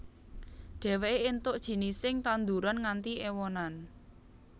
Dheweke entuk jinising tanduran nganti ewonan